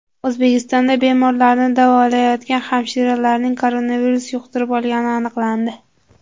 O‘zbekistonda bemorlarni davolayotgan hamshiraning koronavirus yuqtirib olgani aniqlandi.